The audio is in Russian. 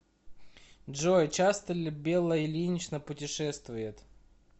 джой часто ли белла ильинична путешествует